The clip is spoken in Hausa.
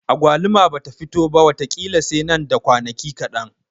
Agwaluma bata fito ba wata ƙila sai nan da kwanaki kaɗan.